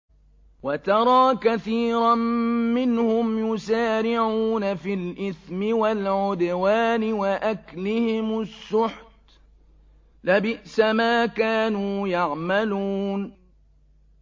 وَتَرَىٰ كَثِيرًا مِّنْهُمْ يُسَارِعُونَ فِي الْإِثْمِ وَالْعُدْوَانِ وَأَكْلِهِمُ السُّحْتَ ۚ لَبِئْسَ مَا كَانُوا يَعْمَلُونَ